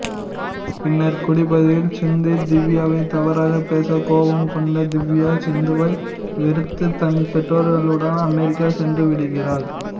பின்னர் குடிபோதையில் சிந்து திவ்யாவை தவறாக பேச கோபம் கொண்ட திவ்யா சிந்துவை வெறுத்து தன் பெற்றோர்களுடன் அமெரிக்கா சென்றுவிடுகிறாள்